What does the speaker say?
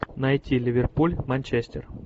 найти ливерпуль манчестер